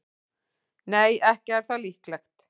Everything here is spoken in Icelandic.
Nei, ekki er það líklegt.